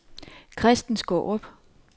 Christen Skaarup